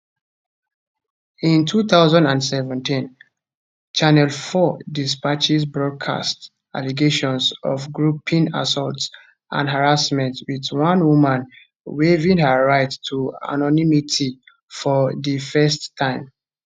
in 2017 channel 4 dispatches broadcast allegations of groping assault and harassment with one woman waiving her right to anonymity for di first time